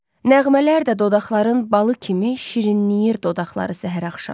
Nəğmələr də dodaqların balı kimi şirinləyir dodaqları səhər-axşam.